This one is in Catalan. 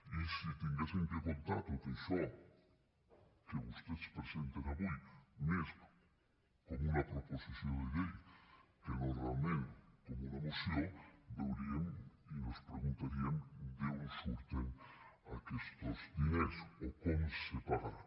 i si haguéssim de comptar tot això que vostès presenten avui més com una proposició de llei que no realment com una moció veuríem i nos preguntaríem d’on surten aquestos diners o com se pagaran